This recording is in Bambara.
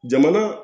Jamana